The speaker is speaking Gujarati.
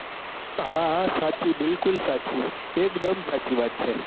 હા હા સાચી બિલકુલ સાચી એકદમ સાચી વાત છે.